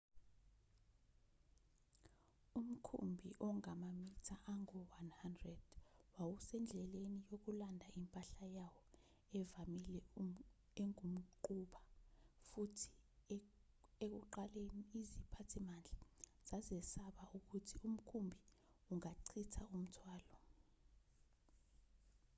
umkhumbi ongamamitha angu-100 wawusendleleni yokulanda impahla yawo evamile engumquba futhi ekuqaleni iziphathimandla zazesaba ukuthi umkhumbi ungachitha umthwalo